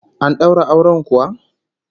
An daura auren kuwa?